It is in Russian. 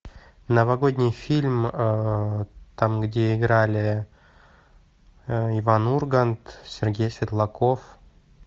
новогодний фильм там где играли иван ургант сергей светлаков